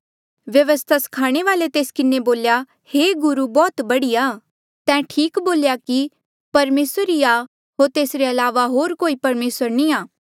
व्यवस्था स्खाणे वाल्ऐ ये तेस किन्हें बोल्या हे गुरू बौह्त बढ़िया तैं ठीक बोल्या कि परमेसर एक ई आ होर तेसरे अलावा होर कोई परमेसर नी आ